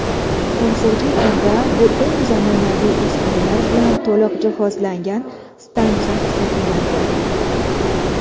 Hozirgi kunda bu eng zamonaviy uskunalar bilan to‘liq jihozlangan stansiya hisoblanadi.